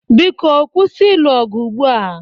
Biko kwụsị ịlụ ọgụ ugbua!